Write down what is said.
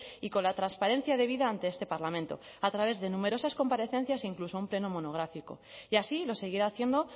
y con la transparencia debida ante este parlamento a través de numerosas comparecencias incluso un pleno monográfico y así lo seguirá haciendo